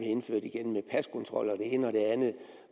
indført igen med paskontrol og det ene og det andet